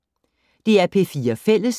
DR P4 Fælles